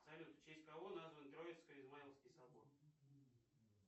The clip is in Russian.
салют в честь кого назван троицко измайловский собор